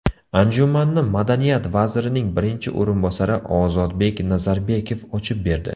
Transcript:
Anjumanni Madaniyat vazirining birinchi o‘rinbosari Ozodbek Nazarbekov ochib berdi.